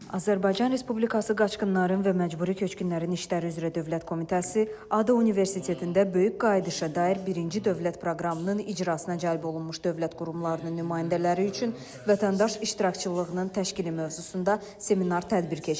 Azərbaycan Respublikası Qaçqınların və Məcburi Köçkünlərin İşləri üzrə Dövlət Komitəsi ADU Universitetində Böyük Qayıdışa dair birinci Dövlət Proqramının icrasına cəlb olunmuş dövlət qurumlarının nümayəndələri üçün vətəndaş iştirakçılığının təşkili mövzusunda seminar tədbir keçirib.